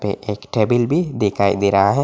एक टेबल भी दिखाई दे रहा है।